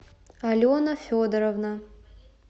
алена федоровна